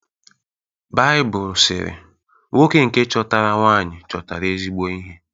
Baịbụl sịrị: “Nwoke nke chọtara nwaanyị chọtara ezigbo ihe